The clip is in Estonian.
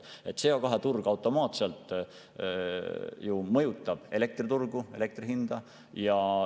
CO2-turg automaatselt mõjutab ju elektriturgu, elektri hinda.